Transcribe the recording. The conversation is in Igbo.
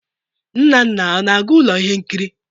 Nnanna ana-aga ụlọ ihe nkiri?